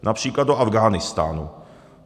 Například do Afghánistánu.